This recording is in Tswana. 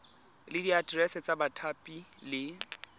le diaterese tsa bathapi le